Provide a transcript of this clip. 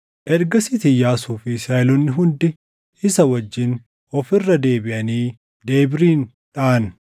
Ergasiis Iyyaasuu fi Israaʼeloonni hundi isa wajjin of irra deebiʼanii Debiirin dhaʼan.